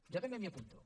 jo també m’hi apunto